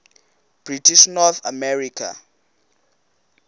british north america